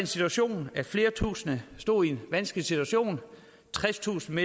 situation at flere tusinde stod i en vanskelig situation tredstusind